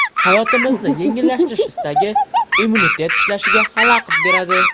Hayotimizni yengillashtirish istagi immunitet ishlashiga xalaqit beradi.